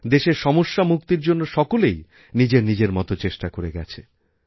দেশের সমস্যামুক্তির জন্য সকলেই নিজের নিজের মতো করেচেষ্টা করে গেছে